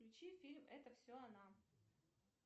включи фильм это все она